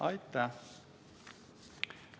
Aitäh!